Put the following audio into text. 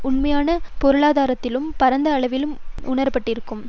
உண்மையான பொருளாதாரத்திலும் பரந்த அளவில் உணரப்பட்டிருக்கும்